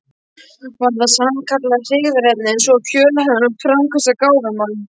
Var það sannkallað hryggðarefni um svo fjölhæfan og framtakssaman gáfumann.